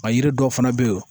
A yiri dɔw fana be yen